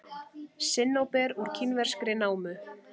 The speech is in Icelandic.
Sinnóber úr kínverskri námu.